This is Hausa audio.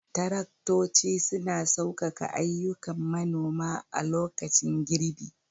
Taraktoci suna saukaka ayyukan manoma a lokacin girbi.